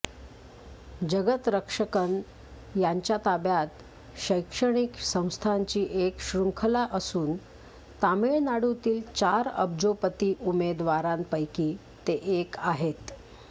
जगतरक्षकन यांच्या ताब्यात शैक्षणिक संस्थांची एक शृंखला असून तमिळनाडूतील चार अब्जोपती उमेदवारांपैकी ते एक आहेत